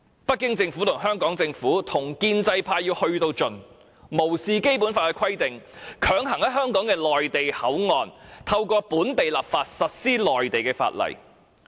北京政府、香港政府與建制派千方百計，甚至無視《基本法》的規定，透過本地立法，強行在香港的內地口岸區實施內地法例。